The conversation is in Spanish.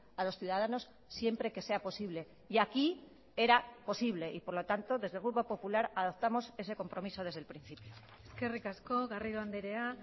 a los ciudadanos siempre que sea posible y aquí era posible y por lo tanto desde el grupo popular adaptamos ese compromiso desde el principio eskerrik asko garrido andrea